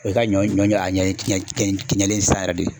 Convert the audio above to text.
O ye ka ɲɔ ɲɔ a ɲɛ kɛɲɛnen sisan yɛrɛ de.